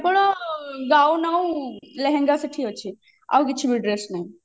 କେବଳ ଗାଉନ ଆଉ ଲେହେଙ୍ଗା ସେଠି ଅଛି ଆଉ କିଛିବି dress ନାହିଁ